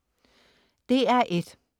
DR1: